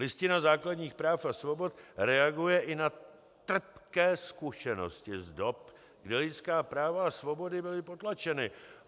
Listina základních práv a svobod reaguje i na trpké zkušenosti z dob, kdy lidská práva a svobody byly potlačeny.